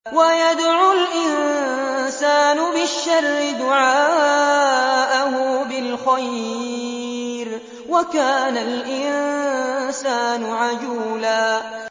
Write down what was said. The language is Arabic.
وَيَدْعُ الْإِنسَانُ بِالشَّرِّ دُعَاءَهُ بِالْخَيْرِ ۖ وَكَانَ الْإِنسَانُ عَجُولًا